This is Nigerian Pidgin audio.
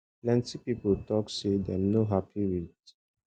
plenty pipo tok say dem no happy wit